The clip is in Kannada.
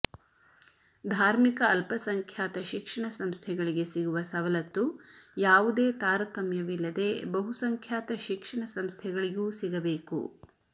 ಧಾರ್ಮಿಕ ಅಲ್ಪ ಸಂಖ್ಯಾತ ಶಿಕ್ಷಣ ಸಂಸ್ಥೆಗಳಿಗೆ ಸಿಗುವ ಸವಲತ್ತು ಯಾವುದೇ ತಾರತಮ್ಯವಿಲ್ಲದೆ ಬಹುಸಂಖ್ಯಾತ ಶಿಕ್ಷಣ ಸಂಸ್ಥೆಗಳಿಗೂ ಸಿಗಬೇಕು